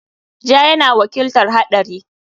Ja yana wakiltar haɗari.